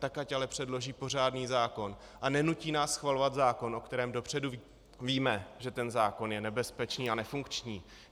Tak ať ale předloží pořádný zákon a nenutí nás schvalovat zákon, o kterém dopředu víme, že ten zákon je nebezpečný a nefunkční.